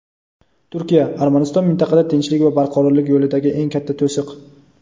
Turkiya: "Armaniston mintaqada tinchlik va barqarorlik yo‘lidagi eng katta to‘siq".